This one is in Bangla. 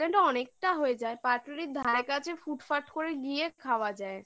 dacres lane অনেকটা হয়ে যায় পাটুলির ধারে কাছে ফুটফাট করে গিয়ে খাওয়া যায়